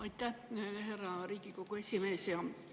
Aitäh, härra Riigikogu esimees!